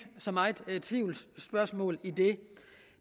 så meget tvivl det